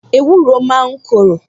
Ewúro máa ń korò